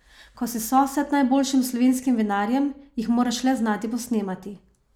Ko si sosed najboljšim slovenskim vinarjem, jih moraš le znati posnemati!